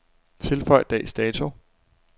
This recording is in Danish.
Tilføj dags dato.